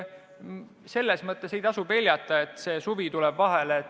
Selles mõttes ei tasu peljata, et suvi tuleb vahele.